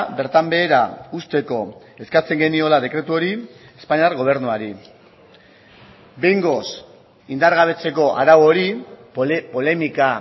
bertan behera uzteko eskatzen geniola dekretu hori espainiar gobernuari behingoz indargabetzeko arau hori polemika